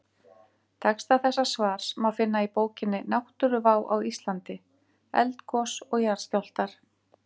Texta þessa svars má finna í bókinni Náttúruvá á Íslandi: Eldgos og jarðskjálftar.